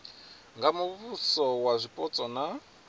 nga muvhuso wa zwipotso na